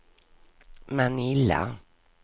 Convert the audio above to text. Manila